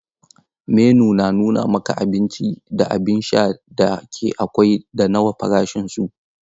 Menu na nuna maka abinci da abin sha da ke akwai da nawa farashinsu.